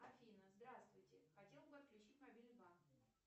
афина здравствуйте хотела бы отключить мобильный банк